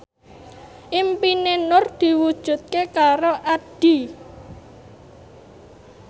impine Nur diwujudke karo Addie